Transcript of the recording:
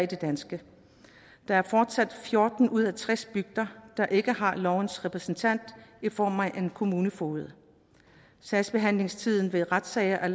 danske der er fortsat fjorten ud af tres bygder der ikke har lovens repræsentant i form af en kommunefoged sagsbehandlingstiden ved retssager er